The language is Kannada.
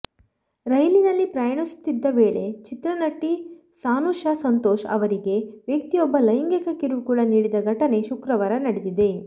ರೈಲಿನಲ್ಲಿ ಪ್ರಯಣಿಸುತ್ತಿದ್ದ ವೇಳೆ ಚಿತ್ರನಟಿ ಸಾನುಷಾ ಸಂತೋಷ್ ಅವರಿಗೆ ವ್ಯಕ್ತಿಯೊಬ್ಬ ಲೈಂಗಿಕ ಕಿರುಕುಳ ನೀಡಿದ ಘಟನೆ ಶುಕ್ರವಾರ ನಡೆದಿದೆ